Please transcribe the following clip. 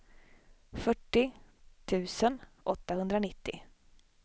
fyrtio tusen åttahundranittio